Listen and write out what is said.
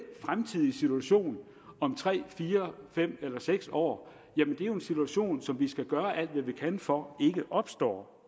fremtidige situation om tre fire fem eller måske seks år er jo en situation som vi skal gøre alt hvad vi kan for ikke opstår